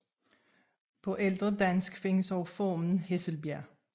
På ældre dansk findes også formen Hesselbjerg